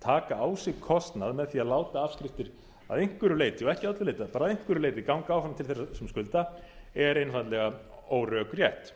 taka á sig kostnað með því að láta afskriftir að einhverju leyti og ekki að öllu leyti bara að einhverju leyti ganga áfram til leitar sem skulda er einfaldlega órökrétt